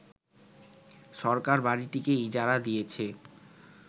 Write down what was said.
সরকার বাড়িটিকে ইজারা দিয়েছে